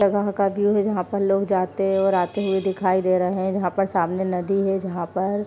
जगह का व्यू है जहाँ पर लोग जाते और आते हुए दिखाई दे रहे है जहाँ पर सामने नदी है जहाँ पर --